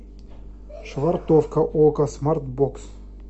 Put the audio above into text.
швартовка окко смарт бокс